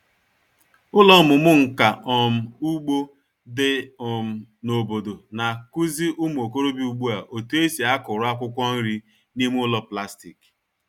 Ụlọ ọmụmụ nka um ugbo dị um n'obodo na-akụzi ụmụ okorobịa ugbu a otu esi akụrụ akwụkwọ nri n'ime ụlọ plastik.